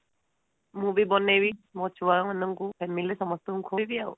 ମୁଁ ବି ବନେଇବି ମୋ ଛୁଆ ମାନଙ୍କୁ ମୋ family ରେ ସମସ୍ତଙ୍କୁ ଖୁଆଇବି ଆଉ